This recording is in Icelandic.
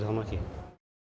það nú ekki